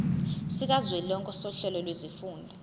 sikazwelonke sohlelo lwezifundo